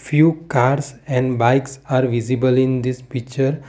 few cars and bikes are visible in this picture.